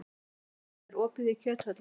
Nanný, er opið í Kjöthöllinni?